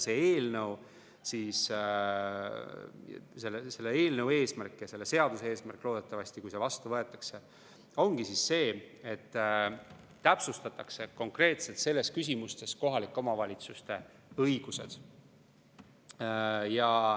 Selle eelnõu ja loodetavasti selle seaduse eesmärk, kui see vastu võetakse, ongi see, et täpsustatakse konkreetselt selles küsimuses kohalike omavalitsuste õigusi.